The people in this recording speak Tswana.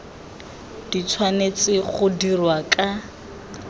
di tshwanetse go dirwa ka